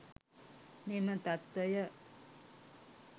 මෙම තත්ත්වය